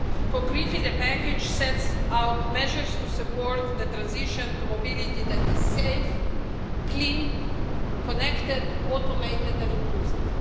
Concretely, the package sets out measures to support the transition to mobility that is safe, clean, connected, automated and inclusive.